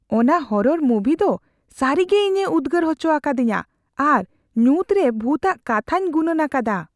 ᱚᱱᱟ ᱦᱚᱨᱚᱨ ᱢᱩᱵᱷᱤ ᱫᱚ ᱥᱟᱹᱨᱤᱜᱮ ᱤᱧᱮ ᱩᱫᱽᱜᱟᱹᱨ ᱦᱚᱪᱚ ᱟᱠᱟᱫᱤᱧᱟᱹ ᱟᱨ ᱧᱩᱛ ᱨᱮ ᱵᱷᱩᱛᱼᱟᱜ ᱠᱟᱛᱷᱟᱧ ᱜᱩᱱᱟᱹᱱ ᱟᱠᱟᱫᱟ ᱾